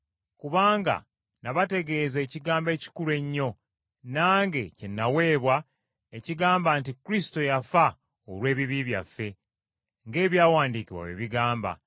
Kubanga nabategeeza ekigambo ekikulu ennyo nange kye nnaweebwa ekigamba nti Kristo yafa olw’ebibi byaffe, ng’Ebyawandiikibwa bwe bigamba,